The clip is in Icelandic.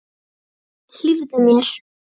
Hlífðu mér.